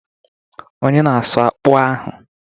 Onye na-asụ akpu ahụ?